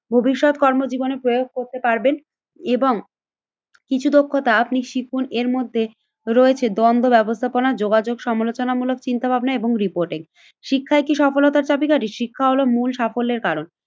ভবিষ্যৎ কর্মজীবনে প্রয়োগ করতে পারবেন এবং কিছু দক্ষতা আপনি শিখুন এর মধ্যে রয়েছে দ্বন্দ্ব ব্যবস্থাপনা, যোগাযোগ সমালোচনামূলক চিন্তাভাবনা এবং রিপোর্টিং। শিক্ষায় কি সফলতার চাবীকাঠি? শিক্ষা হলো মূল সাফল্যের কারণ